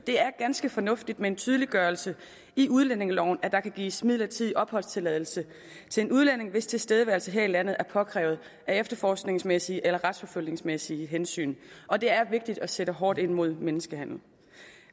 er ganske fornuftigt med en tydeliggørelse i udlændingeloven af at der kan gives midlertidig opholdstilladelse til en udlænding hvis tilstedeværelse her i landet er påkrævet af efterforskningsmæssige eller retsforfølgningsmæssige hensyn og det er vigtigt at sætte hårdt ind imod menneskehandel